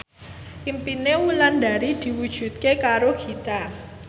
impine Wulandari diwujudke karo Dewi Gita